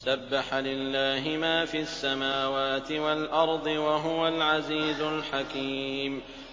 سَبَّحَ لِلَّهِ مَا فِي السَّمَاوَاتِ وَالْأَرْضِ ۖ وَهُوَ الْعَزِيزُ الْحَكِيمُ